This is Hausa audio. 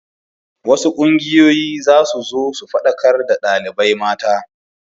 Wasu ƙungiyoyi za su zo su faɗakar da ɗalibai mata.